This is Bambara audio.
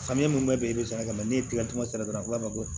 Samiyɛ mun bɛ bɛn i bi saraka la n'i ye tigɛ di cogo di a ko ma ko